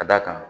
Ka d'a kan